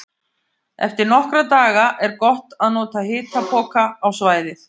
Eftir nokkra daga er gott að nota hitapoka á svæðið.